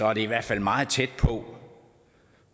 er det i hvert fald meget tæt på